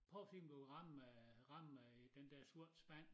Prøv at kig om du kan ramme øh ramme øh den der sorte spand